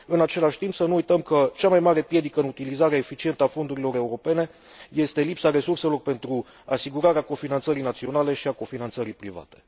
În același timp, să nu uităm că cea mai mare piedică în utilizarea eficientă a fondurilor europene este lipsa resurselor pentru asigurarea cofinanțării naționale și a cofinanțării private.